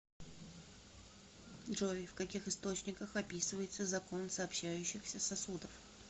джой в каких источниках описывается закон сообщающихся сосудов